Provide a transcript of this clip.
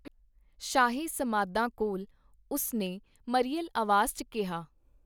ਸ਼ਾਹੀ ਸਮਾਧਾਂ ਕੋਲ, ਉਸ ਨੇ ਮਰੀਅਲ ਆਵਾਜ਼ ਚ ਕੀਹਾ.